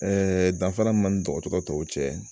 Ɛɛ danfara min man ni dɔgɔtɔrɔ tɔw cɛ